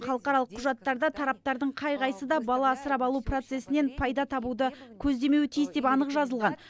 халықаралық құжаттарда тараптардың қай қайсысы да бала асырап алу процесінен пайда табуды көздемеуі тиіс деп анық жазылған